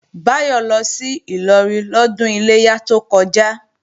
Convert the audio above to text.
Báyọ̀ lọ sí Ìlọrin lọ́dún Iléyá tó kọjá